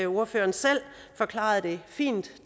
ordføreren selv forklarede det fint